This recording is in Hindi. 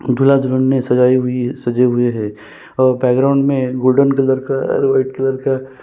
दूल्हा दुल्हन ना सजाई हुई सजे हुए है और गोल्डन कलर का और वाइट कलर का--